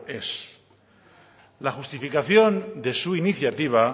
ez la justificación de su iniciativa